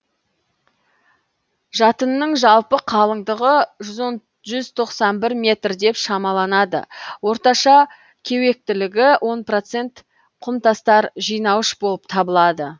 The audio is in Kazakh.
жатынның жалпы қалыңдығы жүз тоқсан бір метр деп шамаланады орташа кеуектілігі он проценті құмтастар жинауыш болып табылады